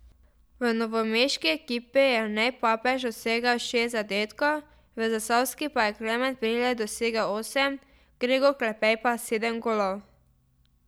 V novomeški ekipi je Jernej Papež dosegel šest zadetkov, v zasavski pa je Klemen Brilej dosegel osem, Gregor Klepej pa sedem golov.